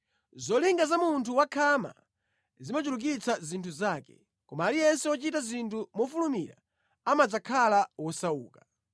Zolinga za munthu wakhama zimachulukitsa zinthu zake; koma aliyense wochita zinthu mofulumira amadzakhala wosauka.